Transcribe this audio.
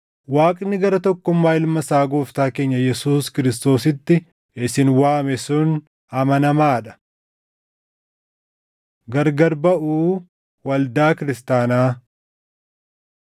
Waaqni gara tokkummaa Ilma isaa Gooftaa keenya Yesuus Kiristoositti isin waame sun amanamaa dha. Gargar Baʼuu Waldaa Kiristaanaa